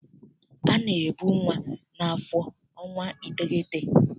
A na-ebu nwa n'afọ ọnwa iteghete.